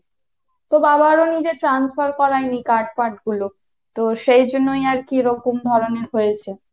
তো বাবাও নিজে transfer করায় নি card ফার্ড গুলো, তো সেজন্যই আরকি এরকম ধরণের হয়েছে।